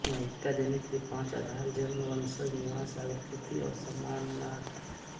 नागरिकता देने के पाँच आधार जन्म बंशज निवास अंगीकृत और सम्मानार्थ